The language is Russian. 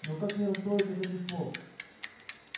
но как не расстроиться от этих слов